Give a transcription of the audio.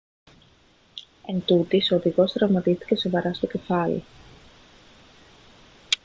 εντούτοις ο οδηγός τραυματίστηκε σοβαρά στο κεφάλι